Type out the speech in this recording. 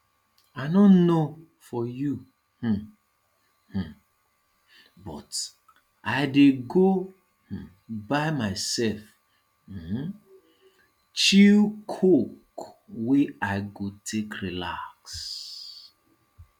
i no know for you um um but i dey go um buy myself um chill coke wey i go take relax